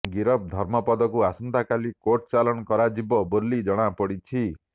ଗିରଫ ଧର୍ମପଦକୁ ଆସନ୍ତାକାଲି କୋର୍ଟ ଚାଲାଣ କରାଯିବ ବୋଲି ଜଣାପଡିଛି